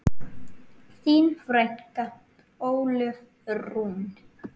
Þín frænka, Ólöf Rún.